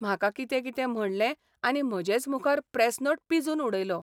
म्हाका कितें कितें म्हणलें आनी म्हजेच मुखार प्रेस नोट पिंजून उडयलो.